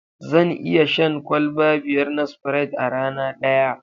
Zan iya shan kwalba biyar na Spirite a rana daya.